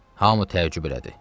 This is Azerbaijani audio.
Hamı təəccüb elədi.